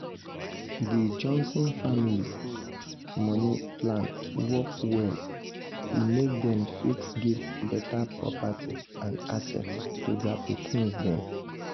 di johnson family money plan work well e make dem fit give better property and assets to their pikins dem.